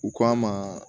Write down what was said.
U k'a ma